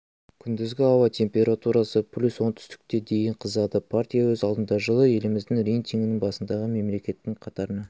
күндізгі ауа температурасы плюс оңтүстікте дейін қызады партия өз алдына жылы елімізді рейтингінің басындағы мемлекеттің қатарына